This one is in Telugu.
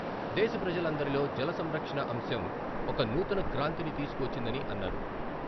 దేశ ప్రజలందరిలో జల సంరక్షణ అంశం ఒక నూతన క్రాంతిని తీసుకు వచ్చిందని అన్నారు.